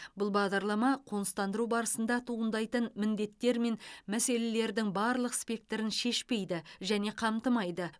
бұл бағдарлама қоныстандыру барысында туындайтын міндеттер мен мәселелердің барлық спектрін шешпейді және қамтымайды